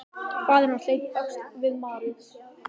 Faðir hans leit um öxl við marrið.